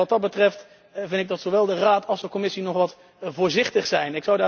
Wat dat betreft, vind ik dat zowel de Raad als de Commissie nog wat voorzichtig zijn.